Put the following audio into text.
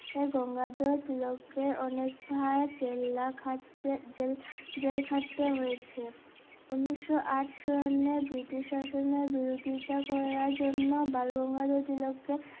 গঙ্গাধর তিলক কে অনেক বার জেল্লা খাটতে জেল~জেল খাটতে হয়েছে উনিশশো আট শূন্যে ব্রিটিশ শাসনে বিরোধিতা করার জন্য বালগঙ্গাধর তিলক কে